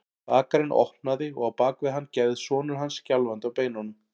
Bakarinn opnaði og á bak við hann gægðist sonur hans, skjálfandi á beinunum.